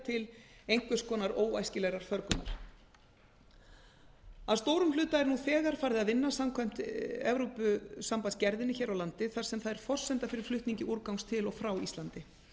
til einhvers konar óæskilegrar förgunar að stórum hluta er nú þegar farið að vinna samkvæmt evrópusambandsgerðinni hér á landi þar sem það er forsenda fyrir flutningi úrgangs til og frá íslandi